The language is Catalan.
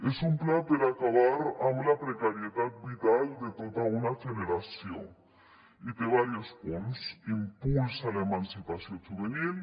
és un pla per acabar amb la precarietat vital de tota una generació i té diversos punts impuls a l’emancipació juvenil